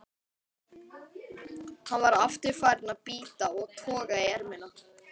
Hann var aftur farinn að bíta og toga í ermina.